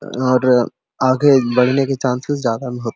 और आगे बढ़ने की चांसेस ज़्यादा --